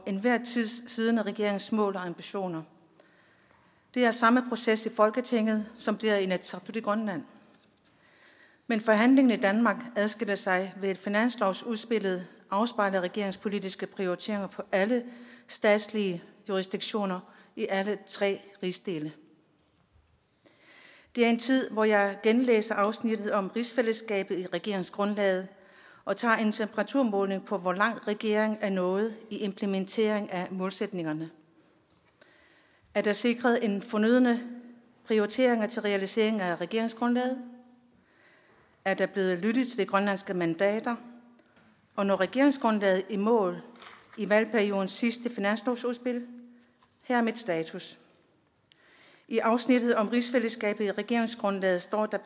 enhver tid siddende regerings mål og ambitioner det er samme proces i folketinget som det er i inatsisartut i grønland men forhandlingen i danmark adskiller sig ved at finanslovsudspillet afspejler regeringens politiske prioriteringer for alle statslige jurisdiktioner i alle tre rigsdele det er en tid hvor jeg genlæser afsnittet om rigsfællesskabet i regeringsgrundlaget og tager en temperaturmåling på hvor langt regeringen er nået i implementeringen af målsætningerne er der sikret den fornødne prioritering til realiseringen af regeringsgrundlaget er der blevet lyttet til de grønlandske mandater og når regeringsgrundlaget i mål i valgperiodens sidste finanslovsudspil her er min status i afsnittet om rigsfællesskabet i regeringsgrundlaget står der